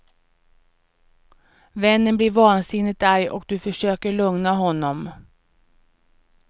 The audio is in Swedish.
Vännen blir vansinnigt arg och du försöker lugna honom.